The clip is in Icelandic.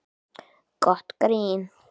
Gott grín